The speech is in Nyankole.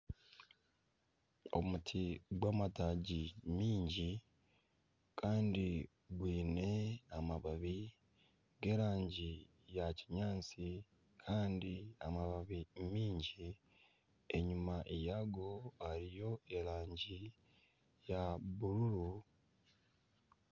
Omuti gw'amataagi maingi kandi gwine amababi g'erangi ya kinyaatsi kandi amababi maingi. Enyima yago hariyo erangi ya bururu.